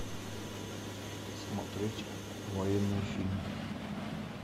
смотреть военные фильмы